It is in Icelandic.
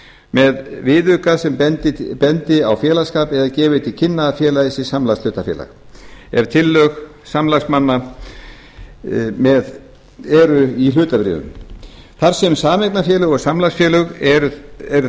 með viðauka sem bendi á félagsskap eða gefi til kynna að félagið sé samlagshlutafélag ef tillög samlagsmanna eru í hlutabréfum þar sem sameignarfélög og samlagsfélög eru